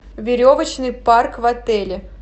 веревочный парк в отеле